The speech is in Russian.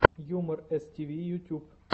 юмор эстиви ютьюб